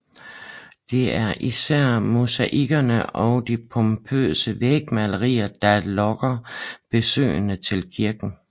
Det er især mosaikkerne og de pompøse vægmalerier der lokker besøgende til kirken